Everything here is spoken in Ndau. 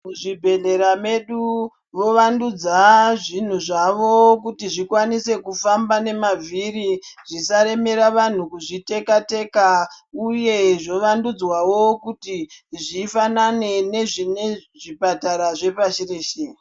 Mu zvibhehlera medu vo wandudza zvinhu zvavo kuti zvikwanise kufamba ne mavhiri zvisa remera vanhu kuzvi teka teka uye zvo vandudzwawo kuti zvifanane ne zvipatara zve pashi reshe.